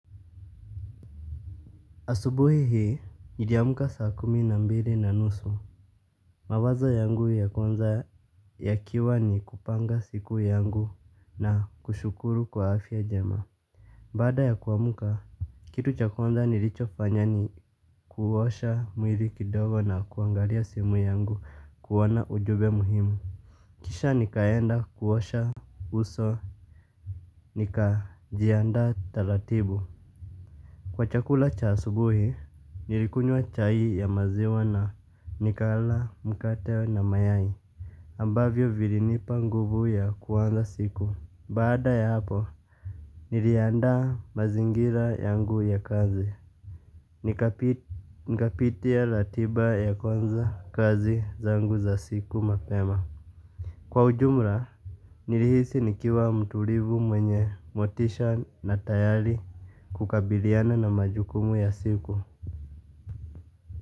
Asubuhi hii, niliamka saa kumi na mbili na nusu. Mawazo yangu ya kwanza yakiwa ni kupanga siku yangu na kushukuru kwa afya njema. Baada ya kuamka, kitu cha kwanza nilichofanya ni kuosha mwili kidogo na kuangalia simu yangu kuona ujumbe muhimu. Kisha nikaenda kuosha uso, nikajianda taratibu. Kwa chakula cha asubuhi, nilikunywa chai ya maziwa na nikala, mkate na mayai ambavyo vilinipa nguvu ya kuanza siku. Baada ya hapo, niliandaa mazingira yangu ya kazi. Nikapitia ratiba ya kwanza kazi zangu za siku mapema. Kwa ujumla, nilihisi nikiwa mtulivu mwenye motisha na tayari kukabiliana na majukumu ya siku.